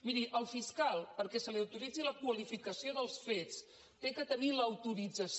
miri el fiscal perquè se li autoritzi la qualificació dels fets ha de tenir l’au·torització